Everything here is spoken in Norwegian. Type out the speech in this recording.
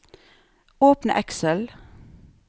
Åpne Excel